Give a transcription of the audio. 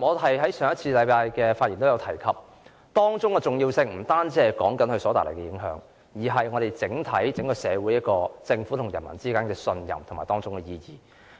我在上星期的發言亦有提及，當中的重要性不單在於這次事件所帶來的影響，更涉及政府與社會整體市民之間的信任，